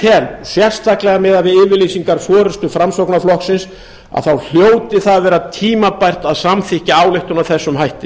tel sérstaklega miðað við yfirlýsingar forustu framsóknarflokksins að þá hljóti það að vera tímabært að samþykkja ályktum með þessum hætti